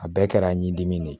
A bɛɛ kɛra ɲidimi de ye